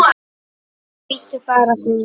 Nei, bíddu bara, góði.